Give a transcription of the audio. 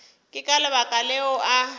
ke ka lebaka leo a